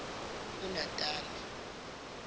unatane